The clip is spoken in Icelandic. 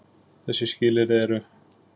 Þessi skilyrði eru: